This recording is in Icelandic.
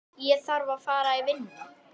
Það vantar ekki að litla hjartað hamist.